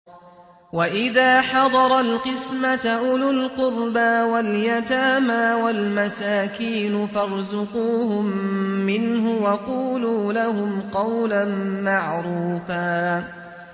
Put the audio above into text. وَإِذَا حَضَرَ الْقِسْمَةَ أُولُو الْقُرْبَىٰ وَالْيَتَامَىٰ وَالْمَسَاكِينُ فَارْزُقُوهُم مِّنْهُ وَقُولُوا لَهُمْ قَوْلًا مَّعْرُوفًا